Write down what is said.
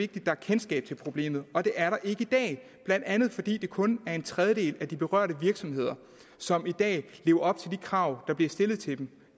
der er kendskab til problemet og det er der ikke i dag blandt andet fordi det kun er en tredjedel af de berørte virksomheder som i dag lever op til de krav der bliver stillet til dem